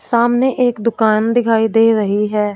सामने एक दुकान दिखाई दे रही है।